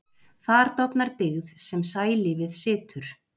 Þar dofnar dyggð sem sælífið situr.